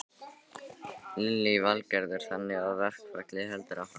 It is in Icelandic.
Lillý Valgerður: Þannig að verkfallið heldur áfram?